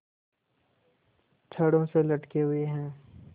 छड़ों से लटके हुए हैं